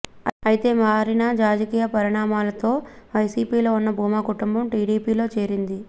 అయితే మారిన రాజకీయ పరిణామాలతో వైసీపీలో ఉన్న భూమా కుటుంబం టీడీపీలో చేరింది